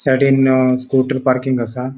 सायडींन अ scooter parking असा.